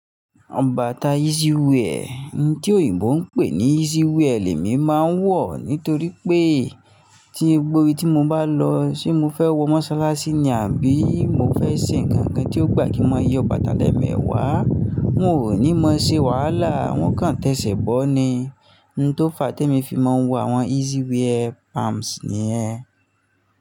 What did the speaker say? Awọn bata easy wear, ohun tí òyìnbó ń pè ní easy wear, lemi máa ń wọ̀. Nítorí pé tí gbogbo ibi tí mo bá lọ, ṣe mo fẹ́ wọ mọ́sálásí ni àbí mo fẹ́ ṣe ǹkan kan tí ó gbà kí n mọ yọ bàtà lẹ́ẹ̀mẹẹ̀wà? Hun ò ní mọ̀ ṣe wàhálà, hun kàn tẹ́ṣẹ̀ bọ́ ni. Ohun tó fa tí èmi fi máa ń wọ àwọn easy wear palms ni yen.